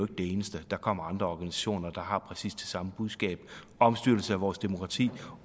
det eneste der kommer andre organisationer der har præcis det samme budskab omstyrtelse af vores demokrati